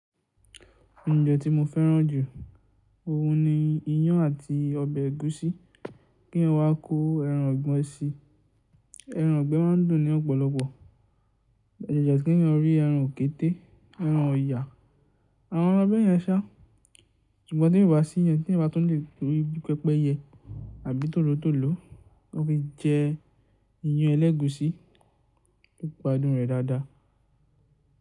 Ounjẹ́ tí mo fẹ́ràn jù? Ohun ni iyán àti ọbẹ̀ ẹ̀gúsí. Kí eeyan wá kó ẹran ìgbe síi. Ẹran ìgbẹ́ má a ń dùn ní ọ̀pọ̀lọpọ̀. Ajaja kí eeyan rí ẹran òkété, ẹran ọ̀yà, àwọn eeran bẹ́yẹn sá. Ṣùgbọ́n ti o bá sí iyen tí eeyan bá tún lè ri bí pẹpẹyẹ àbí tòlótòló, wọ́n fi jẹ iyán ẹlẹ́gùsí yoó gbàdùn rẹ̀ dáadáa.